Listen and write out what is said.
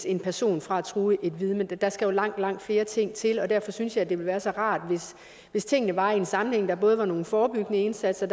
en person fra at true vidner der skal jo langt langt flere ting til og derfor synes jeg at det ville være så rart hvis tingene var i en sammenhæng så der både var nogle forebyggende indsatser